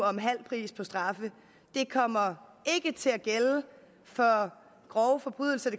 om halv pris på straffe ikke kommer til at gælde for grove forbrydelser at